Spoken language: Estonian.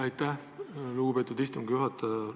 Aitäh, lugupeetud istungi juhataja!